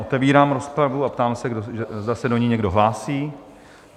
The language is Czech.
Otevírám rozpravu a ptám se, zda se do ní někdo hlásí?